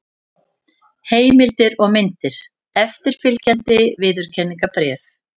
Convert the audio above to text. Heimildir og myndir: Eftirfylgjandi viðurkenningarbréf.